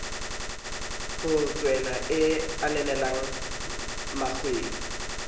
ho tshwaela e ananelwa mekgweng